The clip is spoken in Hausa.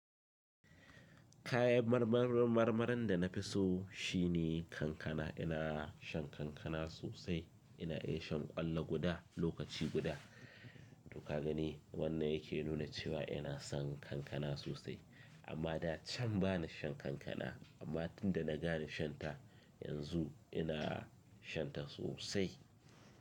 Kayan marmarin marmarin da na fi so shine kankana. Ina shan kankana sosai. Ina iya shan ƙwallo guda lokaci guda. To ka gani wannan yake nuna cewa ina son kankana sosai amma da can ba na shan kankana amma tunda na gane shan ta yanzu ina shan ta sosai.